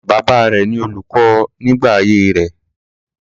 Bàbá rẹ ni olùkọ nígbà ayé rẹ̀.